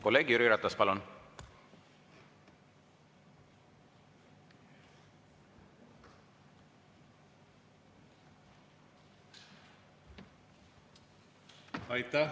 Kolleeg Jüri Ratas, palun!